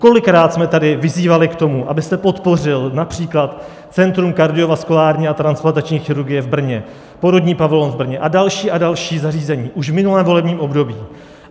Kolikrát jsme tady vyzývali k tomu, abyste podpořil například Centrum kardiovaskulární a transplantační chirurgie v Brně, porodní pavilon v Brně a další a další zařízení, už v minulém volebním období.